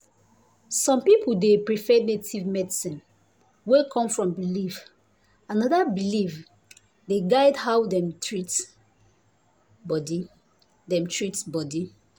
some people dey prefer native medicine wey come from belief and na dat belief dey guide how dem treat body. dem treat body.